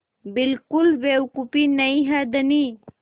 बिल्कुल बेवकूफ़ी नहीं है धनी